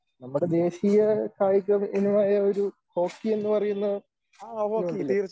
നമ്മുടെ ദേശീയ കായിക വിനോദമായ ഒരു ഹോക്കി എന്നുപറയുന്ന